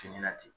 Fini na ten